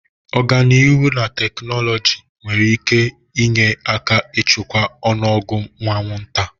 Ọganihu na teknụzụ nwere ike inye aka ịchịkwa ọnụ ọgụgụ anwụnta.